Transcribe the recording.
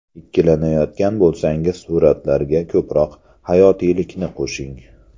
Ikkilanayotgan bo‘lsangiz suratlarga ko‘proq hayotiylikni qo‘shing.